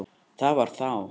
Það var þá!